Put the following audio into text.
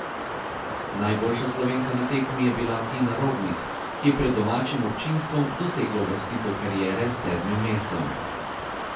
Najboljša Slovenka na tekmi je bila Tina Robnik, ki je pred domačim občinstvom dosegla uvrstitev kariere s sedmim mestom.